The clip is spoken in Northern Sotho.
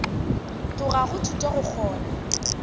tloga go thuto go kgona